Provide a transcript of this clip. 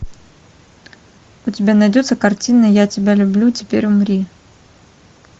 у тебя найдется картина я тебя люблю теперь умри